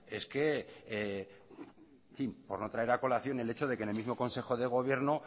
es que en fin por no traer a colación el hecho de que en el mismo consejo de gobierno